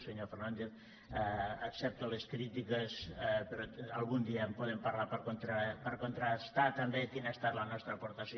senyor fernàndez accepto les crítiques però algun dia en podem parlar per contrastar també quina ha estat la nostra aportació